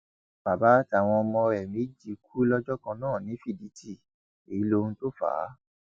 bàbá àtàwọn ọmọ rẹ méjì kú lọjọ kan náà ní fídítì èyí lohun tó fà á